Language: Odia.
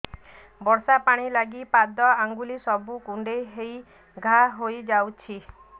ବର୍ଷା ପାଣି ଲାଗି ପାଦ ଅଙ୍ଗୁଳି ସବୁ କୁଣ୍ଡେଇ ହେଇ ଘା ହୋଇଯାଉଛି